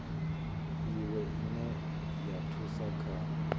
iwe ine ya thusa kha